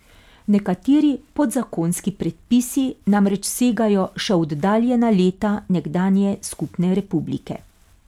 Nekateri podzakonski predpisi namreč segajo še v oddaljena leta nekdanje skupne republike.